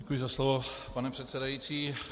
Děkuji za slovo, pane předsedající.